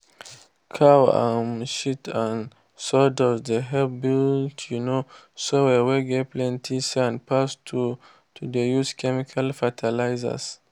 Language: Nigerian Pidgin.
cow um shit and sawdust dey help build um soil whey get plenty sand pass to to dey use chemical fertilizers.